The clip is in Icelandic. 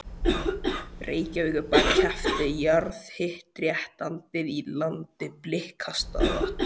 Reykjavíkurbær keypti jarðhitaréttindi í landi Blikastaða.